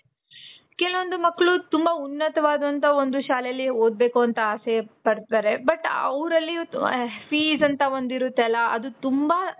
ಕೆಲವೊಂದು ಮಕ್ಳು ತುಂಬ ಉನ್ನತವಾದಂತ ಒಂದು ಶಾಲೇಲಿ ಓದ್ಬೇಕು ಅಂತ ಆಸೆ ಪಡ್ತಾರೆ but ಅವ್ರಲ್ಲಿ fees ಅಂತ ಒಂದು ಇರುತ್ತಲ ಅದು ತುಂಬಾ